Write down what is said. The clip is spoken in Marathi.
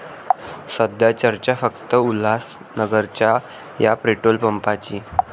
सध्या चर्चा फक्त उल्हासनगरच्या 'या' पेट्रोल पंपाची!